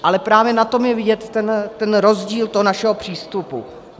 Ale právě na tom je vidět ten rozdíl toho našeho přístupu.